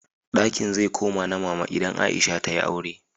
Dakin zai koma na Mama idan Aisha ta yi aure.